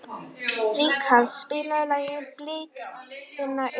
Glóa, mun rigna í dag?